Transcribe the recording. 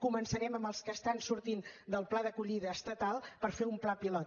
començarem amb els que estan sortint del pla d’acollida estatal per fer un pla pilot